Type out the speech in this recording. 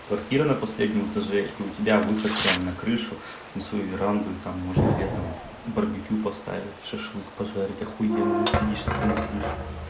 квартира на последнем этаже и у тебя выход прямо на крышу на свою веранду и там можно летом барбекю поставить шашлык пожарить ахуенно сидишь такой на крыше